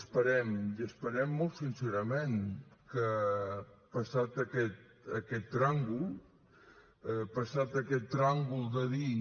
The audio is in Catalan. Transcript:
esperem i esperem molt sincerament que passat aquest tràngol passat aquest tràngol de dir